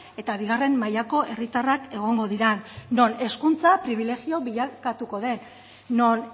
eta bigarren mailako herritarrak egongo diren non hezkuntza pribilegio bilakatuko den non